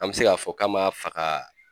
An mɛ se k'a fɔ k'a man faga